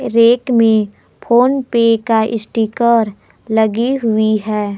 Rank में फोनपे का sticker लगी हुई है।